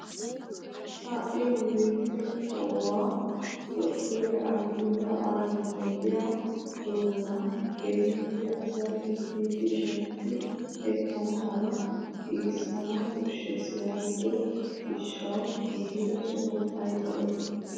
Ha'i nu biittee kawuwaa dottoree ahimeda aabi ogiyaa doonaa keehippe asay uttidi shemppi ekana mala giigissanawu koshshees yaagido gishshawu giigida sohoy ayba lo"ii!